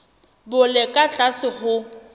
bo le ka tlase ho